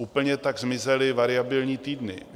Úplně tak zmizely variabilní týdny.